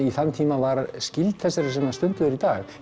í þann tíma var skyld þessari sem stunduð er í dag